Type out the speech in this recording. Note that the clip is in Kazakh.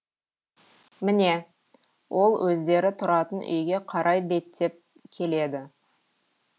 міне ол өздері тұратын үйге қарай беттеп келеді